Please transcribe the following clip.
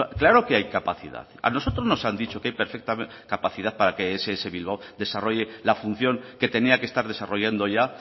claro que hay capacidad a nosotros nos han dicho que hay perfectamente capacidad para que ess bilbao desarrolle la función que tenía que estar desarrollando ya